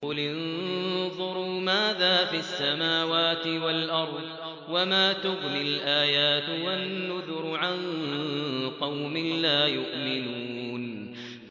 قُلِ انظُرُوا مَاذَا فِي السَّمَاوَاتِ وَالْأَرْضِ ۚ وَمَا تُغْنِي الْآيَاتُ وَالنُّذُرُ عَن قَوْمٍ لَّا يُؤْمِنُونَ